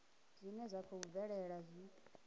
zwine zwa khou bvelela zwi